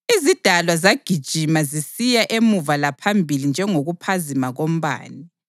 Izidalwa zagijima zisiya emuva laphambili njengokuphazima kombane.